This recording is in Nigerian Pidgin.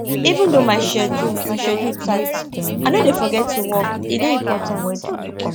even though my schedule my schedule tight i no dey forget to walk e dey important